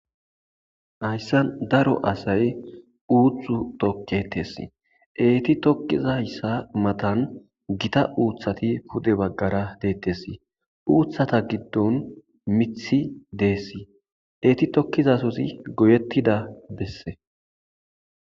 Haysani daro asayi uuthu toketesi, eeti tokizaysa matani Gita uuthati pude bagara detesi,uuthata gidoni mithi desi, eti tokiza sozi goyetida bese.